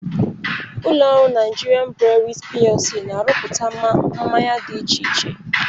Ụlọrụ Nigerian Breweries PLC na-arụpụta mmanya dị iche iche.